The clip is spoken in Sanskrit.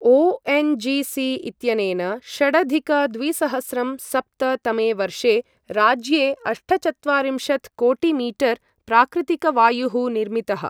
ओ.एन्.जी.सी. इत्यनेन षडधिक द्विसहस्रं सप्त तमे वर्षे राज्ये अष्टचत्वारिंशत् कोटिमीटर् प्राकृतिकवायुः निर्मितः।